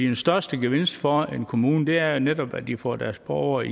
den største gevinst for en kommune er jo netop at de får deres borgere